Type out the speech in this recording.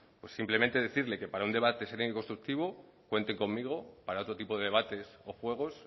pues simplemente decirle que para un debate sereno y constructivo cuenten conmigo para otro tipo de debates o juegos